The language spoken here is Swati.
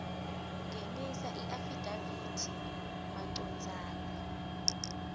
ngenisa iafidavithi macondzana